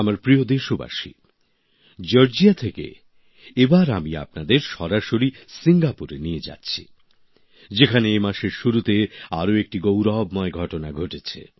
আমার প্রিয় দেশবাসী জর্জিয়া থেকে এবার আমি আপনাদের সরাসরি সিঙ্গাপুরে নিয়ে যাচ্ছি যেখানে এ মাসের শুরুতে আরো একটি গৌরবময় ঘটনা ঘটেছে